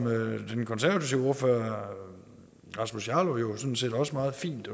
den konservative ordfører herre rasmus jarlov jo sådan set også meget fint